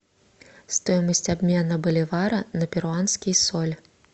стоимость обмена боливара на перуанский соль